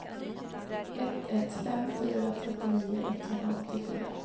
ett ett fem fyra trettionio etthundraåttiofyra